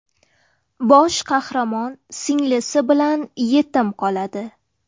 Bosh qahramon singlisi bilan yetim qoladi.